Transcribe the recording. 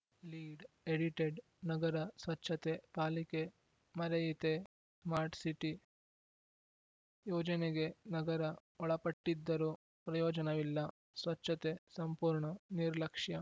lead edited ನಗರ ಸ್ವಚ್ಛತೆ ಪಾಲಿಕೆ ಮರೆಯಿತೇ ಸ್ಮಾರ್ಟ್ ಸಿಟಿ ಯೋಜನೆಗೆ ನಗರ ಒಳಪಟ್ಟಿದ್ದರೂ ಪ್ರಯೋಜನವಿಲ್ಲ ಸ್ವಚ್ಛತೆ ಸಂಪೂರ್ಣ ನಿರ್ಲಕ್ಷ್ಯ